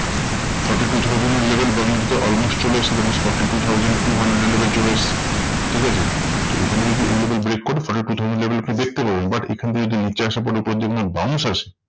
Forty two thousand এর level bank নিফটিতে almost চলে এসেছে। then is forty two thousand two hundred এর level চলে এসেছে। ঠিকাছে? তো এখানে যদি এই level break করে level আপনি দেখতে পাবেন। but এখান থেকে যদি নিচে আসার পর উপরে যদি না bounce আসে